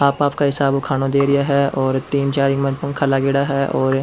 आप आप कई हिसाब ऊ खानो दे रिया है और तीन चार इमा पंखा लागेड़ा है और --